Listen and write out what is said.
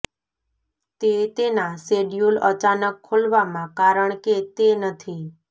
તે તેના શેડ્યુલ અચાનક ખોલવામાં કારણ કે તે નથી